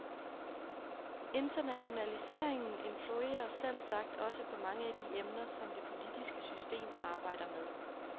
Internationaliseringen influerer selvsagt også på mange af de emner, som det politiske system arbejder med.